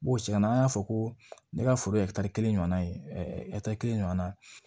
N b'o segin an na an y'a fɔ ko ne ka foro ye kelen ɲɔnna ye kelen ɲɔgɔn na